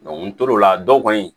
n tor'o la dɔw kɔni